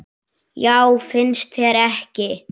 Já, finnst þér ekki?